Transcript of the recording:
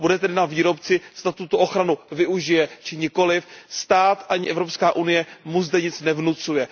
Bude tedy na výrobci, zda tuto ochranu využije či nikoliv, stát ani Evropská unie mu zde nic nevnucuje.